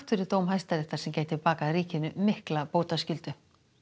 fyrir dóm Hæstaréttar sem gæti bakað ríkinu mikla bótaskyldu